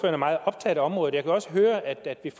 er meget optaget af området og jeg kan også høre at der